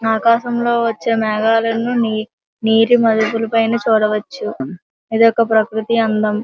ఆకాశం లో వచ్చే మేఘాలన్నీని నీటి మడుగులపైన చూడవచ్చు. ఇది ఒక ప్రకృతి అందం --